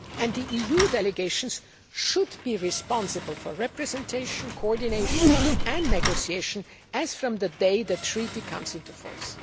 The EU delegations should be responsible for representation, coordination and negotiation as from the day the Treaty comes into force.